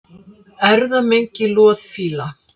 Erfðamengi loðfíla